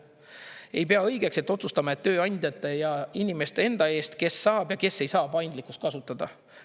Ei pea õigeks, et otsustame tööandjate ja inimeste enda eest, kes saab ja kes ei saa paindlikkust kasutada.